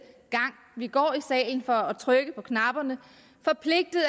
gang vi går i salen for at trykke på knapperne